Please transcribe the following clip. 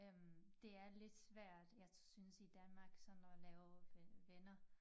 Øh det er lidt svært jeg synes i Danmark sådan at lave øh venner